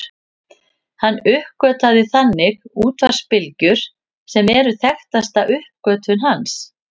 Hann uppgötvaði þannig útvarpsbylgjur sem eru þekktasta uppgötvun hans.